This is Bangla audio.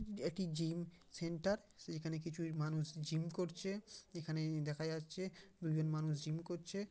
এটি জিম সেন্টার । সেখানে কিছু মানুষ জিম করছে। এখানে দেখা যাচ্ছে দু জন মানুষ জিম করছে।